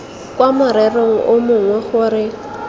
kwa morerong o mongwe gore